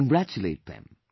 Congratulate them